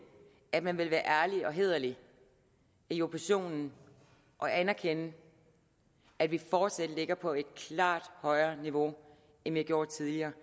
at man vil være ærlig og hæderlig i oppositionen og anerkende at vi fortsat ligger på et klart højere niveau end vi gjorde tidligere